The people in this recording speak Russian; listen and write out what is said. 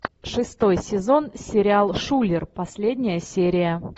шестой сезон сериал шулер последняя серия